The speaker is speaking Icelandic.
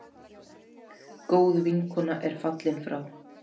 Góð vinkona er fallin frá.